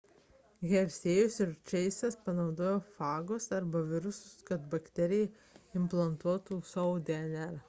hershey'jus ir chase'as panaudojo fagus arba virusus kad į bakteriją implantuotų savo dnr